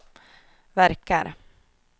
verkar